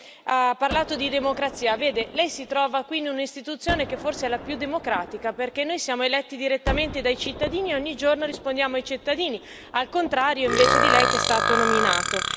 lei ha parlato di democrazia. Vede, lei si trova quindi una istituzione che, forse, è la più democratica, perché noi siamo eletti direttamente dai cittadini e ogni giorno rispondiamo ai cittadini, al contrario di lei che è stato nominato.